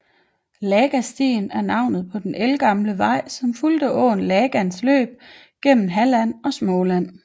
Lagastigen er navnet på den ældgamle vej som fulgte åen Lagans løb gennem Halland og Småland